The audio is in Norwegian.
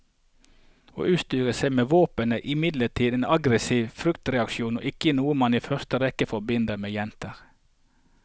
Å utstyre seg med våpen er imidlertid en aggresiv fryktreaksjon og ikke noe man i første rekke forbinder med jenter.